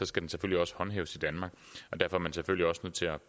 skal den selvfølgelig også håndhæves i danmark